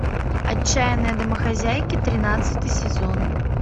отчаянные домохозяйки тринадцатый сезон